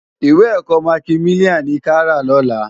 Iwé èkò mákimiláni ni ká rá lòlá